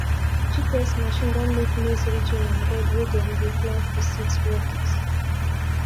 gps machine don make maize ridging and bed wey them dey plant the seeds work easy